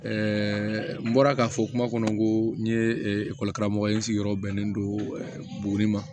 n bɔra k'a fɔ kuma kɔnɔ ko n ye karamɔgɔ ye n sigiyɔrɔ bɛnnen don buguni ma